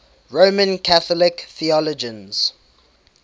roman catholic theologians